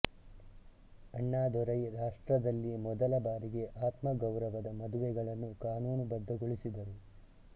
ಅಣ್ಣಾದೊರೈ ರಾಷ್ಟ್ರದಲ್ಲಿ ಮೊದಲ ಬಾರಿಗೆ ಆತ್ಮ ಗೌರವದ ಮದುವೆಗಳನ್ನು ಕಾನೂನುಬದ್ಧಗೊಳಿಸಿದರು